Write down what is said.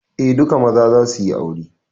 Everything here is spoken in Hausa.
Eh, duka maza za suyi aure